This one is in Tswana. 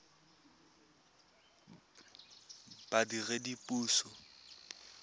badiredipuso